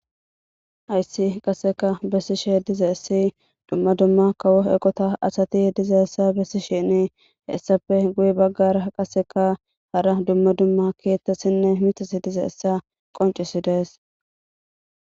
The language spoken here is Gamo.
Aayssi qasseka bessi'she diza issi dumma dumma kawo eqota asati ye diza essa bessi shene hessape guye baggara qaseka hara dumma dumma keettassinne mitasi diza essa qoncisi dees.